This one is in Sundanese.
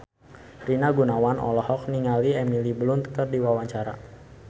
Rina Gunawan olohok ningali Emily Blunt keur diwawancara